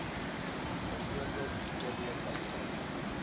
byvoorbeeld verkeerdelik uitgereik